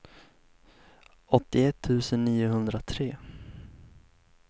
åttioett tusen niohundratre